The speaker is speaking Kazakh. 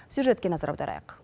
сюжетке назар аударайық